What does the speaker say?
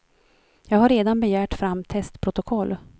Jag har redan begärt fram testprotokoll.